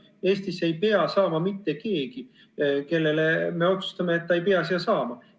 Eestisse ei pea saama mitte keegi, kelle suhtes me otsustame, et ta ei pea siia saama.